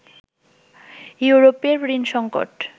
ইউরোপের ঋণ সংকট